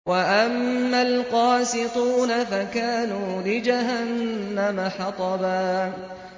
وَأَمَّا الْقَاسِطُونَ فَكَانُوا لِجَهَنَّمَ حَطَبًا